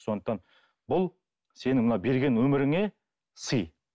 сондықтан бұл сенің мына берген өміріңе сый